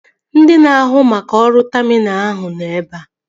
Ndị na-ahụ maka ọrụ taminalụ ahụ nọ ebea